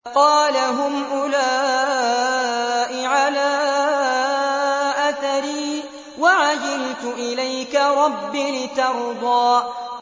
قَالَ هُمْ أُولَاءِ عَلَىٰ أَثَرِي وَعَجِلْتُ إِلَيْكَ رَبِّ لِتَرْضَىٰ